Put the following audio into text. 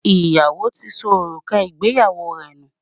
Iyawo tí ṣó orúkà ìgbéyàwó rẹ nú